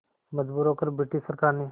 मजबूर होकर ब्रिटिश सरकार ने